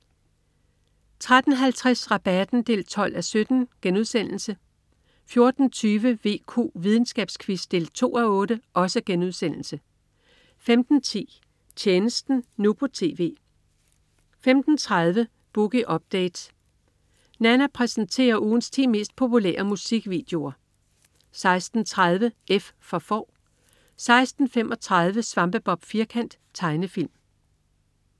13.50 Rabatten 12:17* 14.20 VQ. Videnskabsquiz 2:8* 15.10 Tjenesten nu på TV 15.30 Boogie Listen. Nanna præsenterer ugens 10 mest populære musikvideoer 16.30 F for Får 16.35 Svampebob Firkant. Tegnefilm